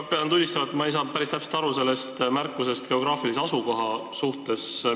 Ma pean tunnistama, et ma ei saanud päris täpselt aru sellest märkusest geograafilise asukoha kohta.